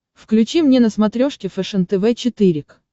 включи мне на смотрешке фэшен тв четыре к